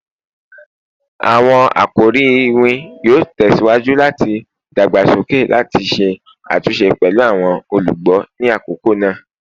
Awọn akori iwin yoo tẹsiwaju lati dagbasoke lati ṣe atunṣe pẹlu awọn olugbo ni akoko naa